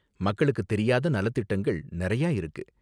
மக்களுக்கு தெரியாத நலத்திட்டங்கள் நறையா இருக்கு.